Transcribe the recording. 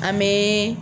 An bɛ